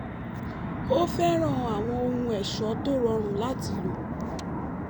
ó fẹ́ràn àwọn ohun ẹ̀ṣọ́ tó rọrùn láti lò